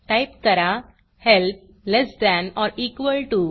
type करा help less than or equal TO